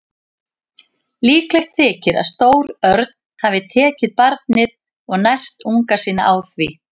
Líklegt þykir að stór örn hafi tekið barnið og nært unga sína á því.